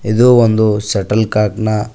ಇದು ಒಂದು shuttle cock ನ--